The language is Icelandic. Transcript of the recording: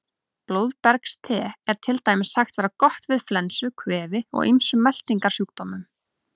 Blóðbergste er til dæmis sagt vera gott við flensu, kvefi og ýmsum meltingarsjúkdómum.